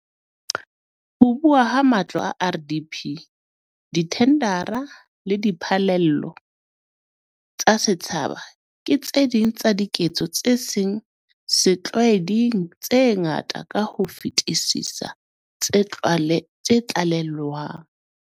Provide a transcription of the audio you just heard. Ho abuwa ha matlo a RDP, dithendara le diphallelo tsa setjhaba ke tse ding tsa diketso tse seng setlwaeding tse ngata ka ho fetisisa tse tlalewang.